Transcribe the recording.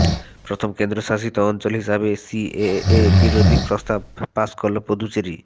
প্রথম কেন্দ্র শাসিত অঞ্চল হিসাবে সিএএ বিরোধী প্রস্তাব পাশ করল পুদুচেরি